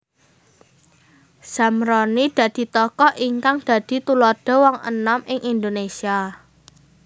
Zamroni dadi tokoh ingkang dadi tuladha wong enom ing Indonesia